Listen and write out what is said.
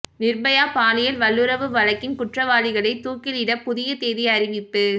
நிர்பயா பாலியல் வல்லுறவு வழக்கின் குற்றவாளிகளை தூக்கிலிட புதிய தேதி அறிவிப்பு